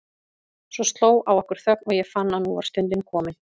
Svo sló á okkur þögn og ég fann að nú var stundin komin.